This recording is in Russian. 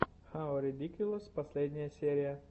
хау редикьюлэс последняя серия